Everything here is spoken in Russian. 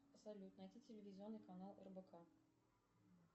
салют найти телевизионный канал рбк